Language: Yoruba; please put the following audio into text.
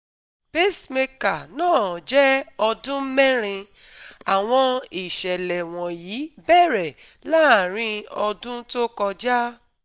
Pacemaker náà jẹ́ ọdún merin - àwọn ìṣẹ̀lẹ̀ wọ̀nyí bẹ̀rẹ̀ láàrin ọdún tó kọjá